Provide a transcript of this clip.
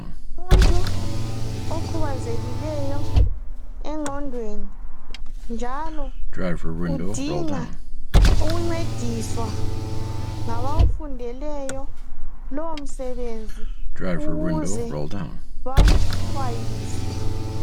Umuntu okhubazekileyo engqondweni njalo udinga ukuncediswa ngabawufundeleyo lowow msebenzini ukuze bamxhwayise